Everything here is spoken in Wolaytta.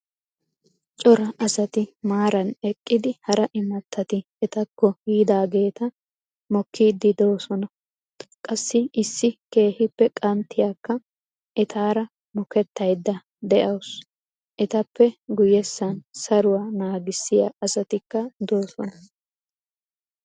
Cora asati maaran eqqidi hara imattati etakko yiidageta mokkiidi doosona. qassi issi keehippe qanttiyaakka etaara mokettayda dawusu. ettappe guyessan saruwaa naagissiya asatika doosona.